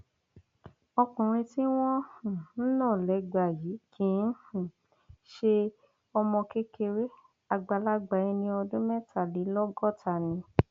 ọkùnrin tí wọn um ń nà lẹgba yìí kì um í ṣe ọmọ kékeré àgbàlagbà ẹni ọdún mẹtàlélọgọta ni